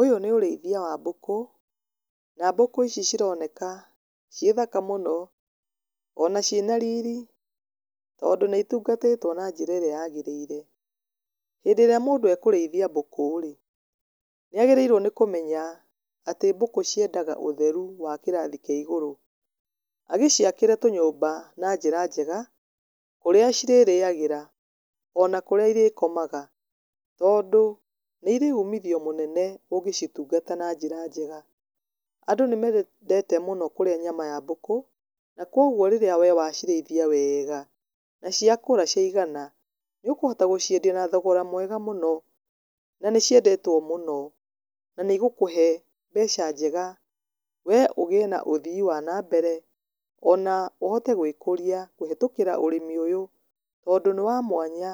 Uyũ nĩ ũrĩithĩa wa mbũkũ na mbũkũ ici cironeka cie thaka mũno ona cina rĩrĩ tondũ nĩ ĩtũngatĩtwo na njĩra ĩrĩa yagĩrĩre, hĩndĩ ĩrĩa mũndũ akũrĩithĩa mbũkũ nĩagĩrĩirwo nĩ kũmenya atĩ bũkũ ciendaga ũtherĩ wa kĩrathĩ kĩa igũrũ agĩciakĩre tũnyũmba na njĩra njega kũrĩa cirariagĩra ona kũrĩa ĩrĩkomaga, tondũ nĩ ĩrĩ ũmĩthĩo mũnene ũgĩcitũngata na njĩra njega. Andũ nĩmendete kũrĩa nyama ya mbũkũ na kwogwo rĩrĩa we waciraĩthĩa wega na ciakũra ciagana nĩ ũkũhota gũciendĩa na thogora mwega mũno na nĩ ciendetwo mũno na nĩ ĩgũkũhe mbeca njega we ũgĩe na ũthĩe wa nambere, ona ũhote gwĩkũrĩa kũhĩtũkĩra ũrĩmi ũyũ tondũ nĩ wa mwanya